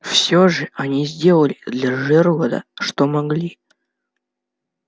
все же они сделали для джералда что могли